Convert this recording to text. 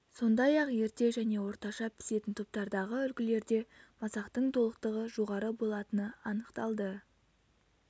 сондай-ақ ерте және орташа пісетін топтардағы үлгілерде масақтың толықтығы жоғары болатыны анықталды